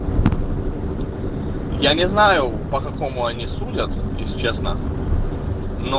я не знаю по какому они судят если честно но